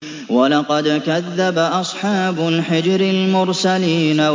وَلَقَدْ كَذَّبَ أَصْحَابُ الْحِجْرِ الْمُرْسَلِينَ